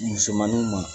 Musomaninw ma